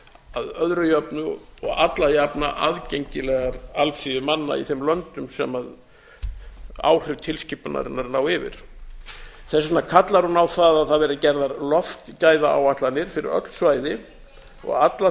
að öðru jöfnu og alla jafna aðgengilegar alþýðu manna í þeim löndum sem áhrif tilskipunarinnar ná yfir þess vegna kallar hún á það að það verði gerðar loftgæðaáætlanir fyrir öll svæði og alla